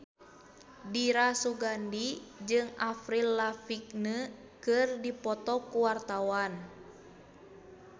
Dira Sugandi jeung Avril Lavigne keur dipoto ku wartawan